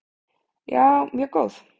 Já, mjög góð.